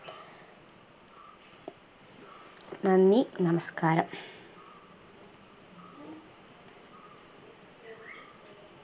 നന്ദി നമസ്‌കാരം